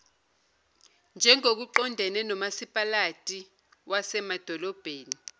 njengokuqondene nomasipalati wasemadolobheni